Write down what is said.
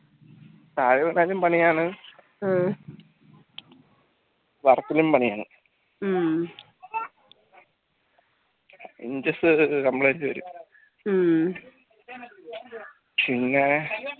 താഴെ വീണാലും പണിയാണ്‌ പണിയാണ്‌ inches complete പിന്നെ